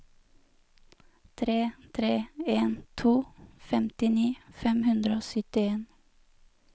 tre tre en to femtini fem hundre og syttien